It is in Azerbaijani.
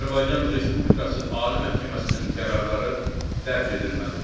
Azərbaycan Respublikası Ali Məhkəməsinin qərarları dərc edilməlidir.